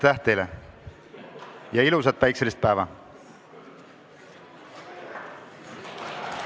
Aitäh teile ja ilusat päikeselist päeva!